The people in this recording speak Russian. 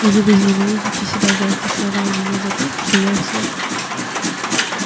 и вы возненавидите себя за эти слова и меня за то что я их слушал